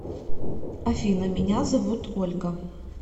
афина меня зовут ольга